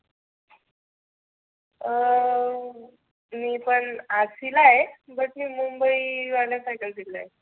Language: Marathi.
अं मी पण RC ला आहे. but मी मुंबई वाल दिलय.